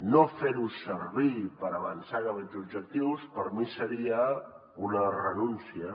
no fer ho servir per avançar cap a aquests objectius per mi seria una renúncia